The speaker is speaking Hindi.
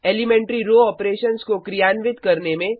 एलीमेंट्री रो ऑपरेशंस को क्रियान्वित करने में